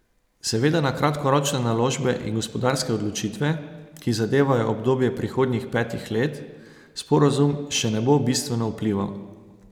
Seveda na kratkoročne naložbe in gospodarske odločitve, ki zadevajo obdobje prihodnjih petih let, sporazum še ne bo bistveno vplival.